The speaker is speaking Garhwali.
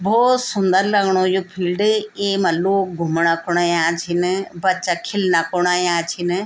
भौत सुन्दर लगणु यु फिल्ड एमा लोग घुमणा खुण अयां छिन बच्च्चा खिलना खुण अयां छिन।